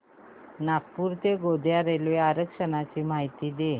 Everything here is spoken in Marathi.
नागपूर ते गोंदिया रेल्वे आरक्षण ची माहिती दे